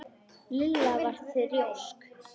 Lilla var þrjósk.